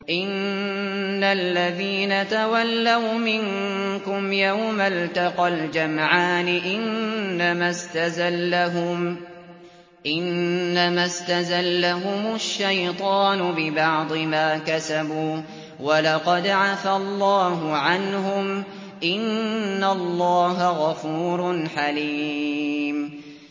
إِنَّ الَّذِينَ تَوَلَّوْا مِنكُمْ يَوْمَ الْتَقَى الْجَمْعَانِ إِنَّمَا اسْتَزَلَّهُمُ الشَّيْطَانُ بِبَعْضِ مَا كَسَبُوا ۖ وَلَقَدْ عَفَا اللَّهُ عَنْهُمْ ۗ إِنَّ اللَّهَ غَفُورٌ حَلِيمٌ